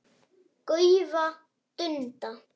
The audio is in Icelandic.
gaufa, dunda.